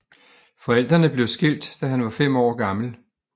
Forældrene blev skilt da han var 5 år gammel